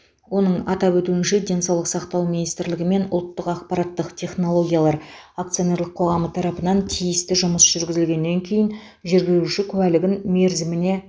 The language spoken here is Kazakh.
оның атап өтуінше денсаулық сақтау министрлігі мен ұлттық ақпараттық технологиялар акционерлік қоғамы тарапынан тиісті жұмыс жүргізілгеннен кейін жүргізуші куәлігін мерзіміне